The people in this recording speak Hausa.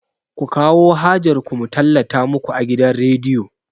Ku kawo hajar ku mu tallata muku a gidan rediyo!